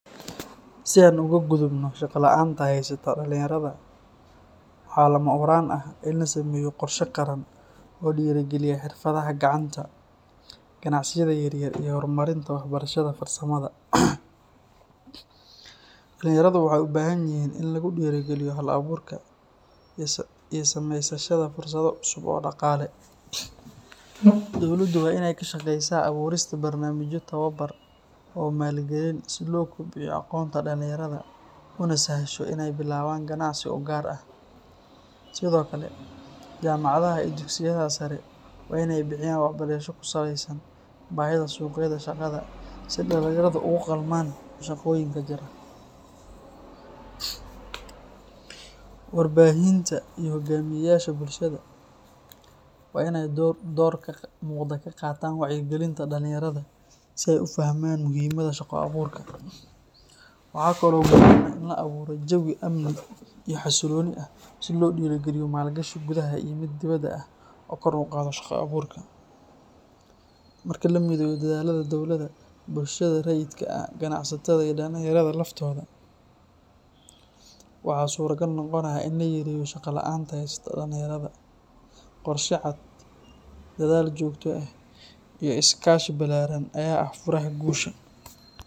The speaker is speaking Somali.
Si aan uga gudubno shaqo la’aanta haysata dhalinyarada, waxaa lama huraan ah in la sameeyo qorshe qaran oo dhiirrigeliya xirfadaha gacanta, ganacsiyada yaryar, iyo horumarinta waxbarashada farsamada. Dhalinyaradu waxay u baahan yihiin in lagu dhiirrigeliyo hal-abuurka iyo samaysashada fursado cusub oo dhaqaale. Dowladdu waa in ay ka shaqaysaa abuurista barnaamijyo tababar iyo maalgelin si loo kobciyo aqoonta dhalinyarada una sahasho in ay bilaabaan ganacsi u gaar ah. Sidoo kale, jaamacadaha iyo dugsiyada sare waa in ay bixiyaan waxbarasho ku saleysan baahida suuqyada shaqada si dhalinyaradu ugu qalmaan shaqooyinka jira. Warbaahinta iyo hogaamiyeyaasha bulshada waa in ay door muuqda ka qaataan wacyigelinta dhalinyarada si ay u fahmaan muhiimada shaqo-abuurka. Waxaa kaloo muhiim ah in la abuuro jawi amni iyo xasillooni ah si loo dhiirrigeliyo maalgashi gudaha iyo mid dibadda ah oo kor u qaada shaqo-abuurka. Marka la mideeyo dadaallada dowladda, bulshada rayidka ah, ganacsatada, iyo dhalinyarada laftooda, waxaa suuragal noqonaya in la yareeyo shaqo la’aanta haysata dhalinyarada. Qorshe cad, dadaal joogto ah iyo is-kaashi ballaaran ayaa ah furaha guusha.